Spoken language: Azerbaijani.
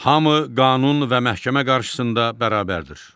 Hamı qanun və məhkəmə qarşısında bərabərdir.